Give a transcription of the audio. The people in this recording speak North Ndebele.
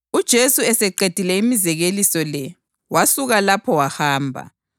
UJesu eseqedile imizekeliso le wasuka lapho wahamba.